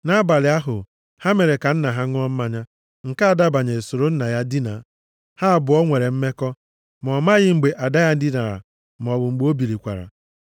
Nʼabalị ahụ, ha mere ka nna ha ṅụọ mmanya, nke ada banyere soro nna ya dina. Ha abụọ nwere mmekọ. Ma ọ amaghị mgbe ada ya dinara maọbụ mgbe o bilikwara.